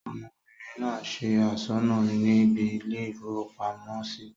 ọmọbìnrin náà se asọ́nà níbi ilé-ìfowópamọ́sí